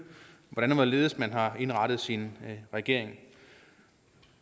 hvordan og hvorledes man har indrettet sin regering